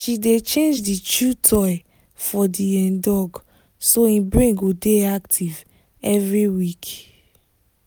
she dey change the chew toy for the um dog so e brain go dey active every week.